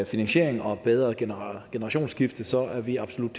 finansiering og et bedre generationsskifte så er vi absolut